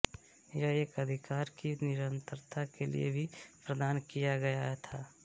यह एक अधिकार की निरंतरता के लिए भी प्रदान किया गया था